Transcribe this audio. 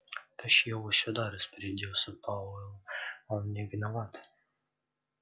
тащи его сюда распорядился пауэлл он не виноват